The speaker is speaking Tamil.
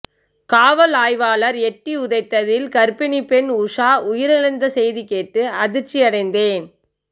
காவல் ஆய்வாளர் எட்டி உதைத்ததில் கர்ப்பிணி பெண் உஷா உயிரிழந்த செய்திகேட்டு அதிர்ச்சியடைந்தேன்